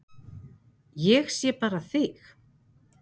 Ég sé bara þig!